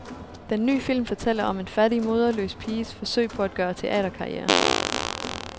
Den ny film fortæller om en fattig, moderløs piges forsøg på at gøre teaterkarriere.